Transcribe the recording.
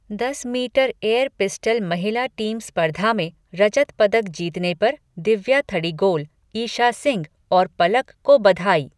दस metre air pistol महिला team स्पर्धा में रजत पदक जीतने पर दिव्या थडिगोल, ईशा सिंह और पलक को बधाई।